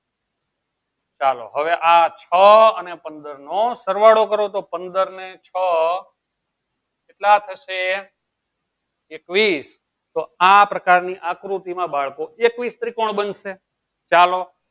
ચાલો હવે આ છ અને પંદર નો સરવાળો કરો તો પંદર ને છ કેટલા થશે? એકવીસ તો આ પ્રકારની આકૃતિમાં બાળકો ત્રિકોણ બનશે ચાલો